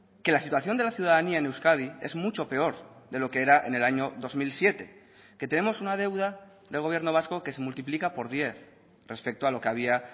que la situación de la ciudadanía en euskadi es mucho peor de lo que era en el año dos mil siete que tenemos una deuda del gobierno vasco que se multiplica por diez respecto a lo que había